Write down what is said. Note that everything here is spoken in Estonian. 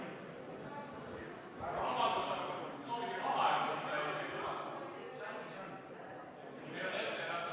Kuna Taavi Rõivas esitas soovi teha kümneminutiline vaheaeg, siis tuleb kümme minutit vaheaega.